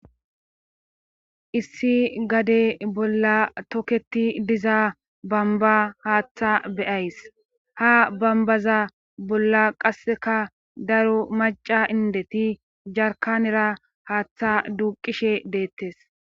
issi gade bolla toketi diza bamba haaththa beyays ha bambaza bolla qasseka daro maca indeti jarkanera haaththa duuqishe deettes